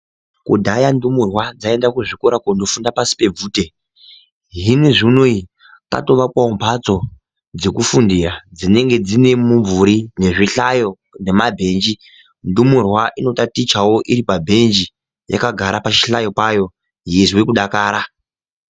Kudhaya ndumurwa dzaienda kuzvikora kundofunda pashi pebvute zvinezviunei patoakwawo mhatso ,dzokufundira dzinenge dzinemumvuri nezvihlayo nemabhenji. Ndomurwa inotatichawo iri pabhenji yakagarawo pachihlayo payo yeizwa kudakara.